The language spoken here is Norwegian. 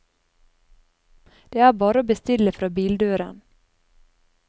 Det er bare å bestille fra bildøren.